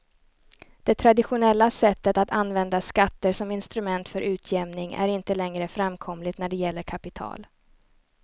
Det traditionella sättet att använda skatter som instrument för utjämning är inte längre framkomligt när det gäller kapital.